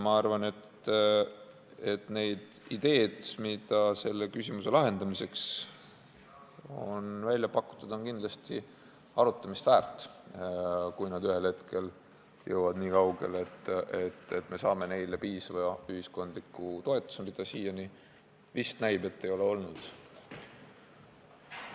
Ma arvan, et ideed, mis selle küsimuse lahendamiseks on välja pakutud, on kindlasti arutamist väärt, kui need ühel hetkel jõuavad nii kaugele, et saame neile piisava ühiskondliku toetuse, mida siiani näib, et ei ole olnud.